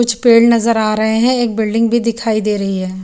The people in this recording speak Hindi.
कुछ पेड़ नजर आ रहेहैं एक बिल्डिंग भी दिखाई दे रही है।